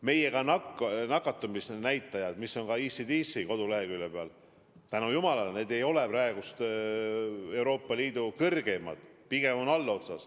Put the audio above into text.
Meie nakatumisnäitajad, mis on ka ECDC koduleheküljel, tänu jumalale ei ole praegu Euroopa Liidu kõrgeimad, pigem on allotsas.